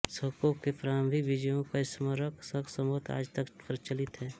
शकों की प्रारंभिक विजयों का स्मारक शक संवत् आज तक प्रचलित है